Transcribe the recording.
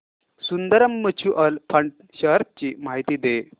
Sundaram mutual fund shares ची माहिती दे